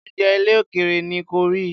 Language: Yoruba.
oúnjẹ ilè òkèèrè ni corie.